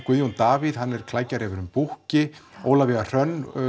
Guðjón Davíð hann er klækjarefurinn Búkki Ólafía Hrönn